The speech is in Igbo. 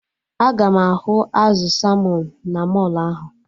Aga m ahụ azụ salmọn na mọlụ ahụ?